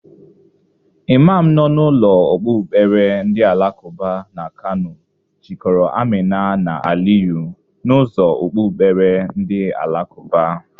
Imam nọ na ụlọ okpukpere ndị alakụba n' Kano jịkọrọ Amina na Aliyu, n'ụzọ okpukpere ndị alakụba.